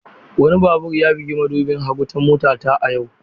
Wani babur ya bugi madubin hagu ta motata a yau.